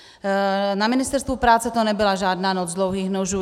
Na Ministerstvu práce to nebyla žádná noc dlouhých nožů.